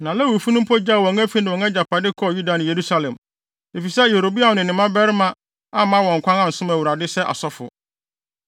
Na Lewifo no mpo gyaw wɔn afi ne wɔn agyapade kɔɔ Yuda ne Yerusalem, efisɛ Yeroboam ne ne mmabarima amma wɔn kwan ansom Awurade sɛ asɔfo.